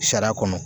Sariya kɔnɔ